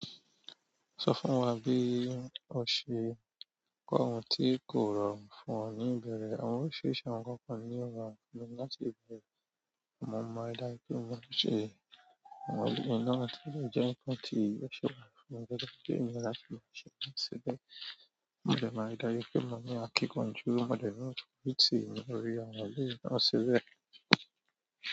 Sọ fún wa bí o ṣe kọ ohun tí kò rọrùn fún ọ ní ìbẹ̀rẹ̀, àwọn oríṣiríṣi àwọn nnkankan ni ó rọrùn fún mi láti ibẹ̀rẹ̀. Amo mo máa ri dájú pe mo maa n ṣe àwọn eléyìí náà ti dè jẹ́ ǹnkan tí ò ṣe pàtàkì fún mi gẹ́gẹ́ bí ènìyàn gbọ́dọ̀ láti lọ ṣẹ nǹkan síbẹ̀ mo dè máa ri dájú pe, mo ní àkíkanjú, mo dè ni aforiti ní orí àwọn eléyìí náà síbẹ̀.